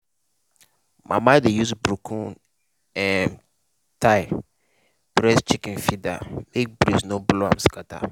mama dey use broken um tile press chicken feeder make breeze no blow am scatter.